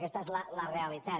aquesta és la realitat